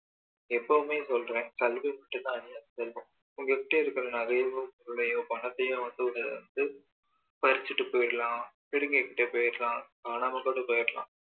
எப்பவுமே சொல்றேன் கல்வி மட்டும் தான் அழியாத செல்வம் உங்ககிட்ட இருக்கிற நகையையோ பொருளையோ பணத்தையோ வந்து ஒரு வந்து பறிச்சிட்டு போயிடலாம் பிடிங்கிட்டு போயிடலாம் காணாம கூட போயிடலாம்